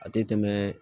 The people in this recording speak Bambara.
A tɛ tɛmɛ